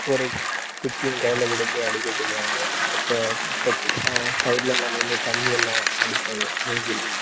ஒரு குச்சியை, கையிலே கொடுத்து, அடிக்கச் சொல்லுவாங்க ஆஹ் side ல எல்லாம் நின்று தண்ணி எல்லாம் அடிப்பாங்க மூஞ்சியிலே.